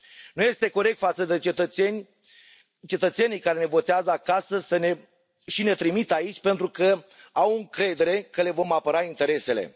Nu este corect față de cetățenii care ne votează acasă și ne trimit aici pentru că au încredere că le vom apăra interesele.